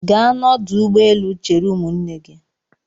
Gaa n'ọdụ ụgbọelu chere ụmụnne gị!